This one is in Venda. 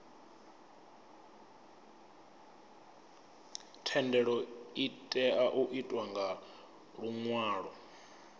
thendelo itea u itwa nga luṅwalo